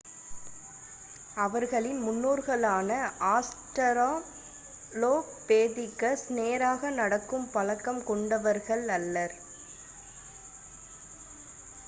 அவர்களின் முன்னோர்களான ஆஸ்ட்ராலோபெதிகஸ் நேராக நடக்கும் பழக்கம் கொண்டவர்கள் அல்லர்